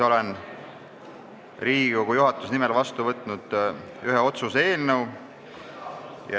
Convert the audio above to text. Olen Riigikogu juhatuse nimel vastu võtnud ühe otsuse eelnõu.